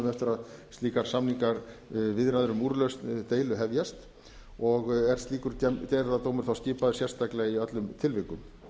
mánuðum eftir að slíkar samningaviðræður um úrlausn deilu hefjast og er slíkur gerðardómur þá skipaður sérstaklega í öllum tilvikum það